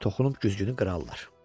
toxunub güzgünü qırarlar.